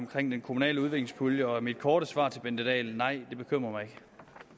omkring den kommunale udviklingspulje og mit korte svar til fru bente dahl er nej det bekymrer mig